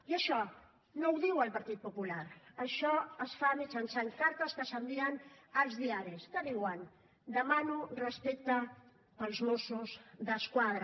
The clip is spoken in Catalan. i això no ho diu el partit popular això es fa mitjançant cartes que s’envien als diaris que diuen demano respecte pels mossos d’esquadra